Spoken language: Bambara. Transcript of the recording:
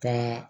Ka